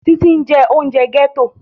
Títí ń jẹ oúnjẹ gẹ́tò